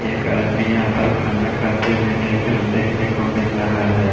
एक आदमी यहां पर खाना खाते भी देख देखने को मिल रहा है।